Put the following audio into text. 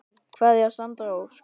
Kveðja Sandra Ósk.